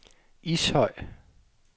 Ishøj